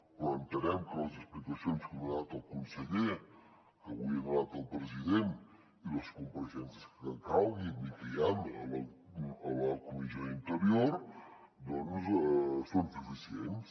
però entenem que les explicacions que ha donat el conseller que avui ha donat el president i les compareixences que calguin i que hi han a la comissió d’interior doncs són suficients